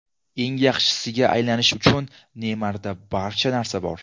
Eng yaxshiga aylanish uchun Neymarda barcha narsa bor.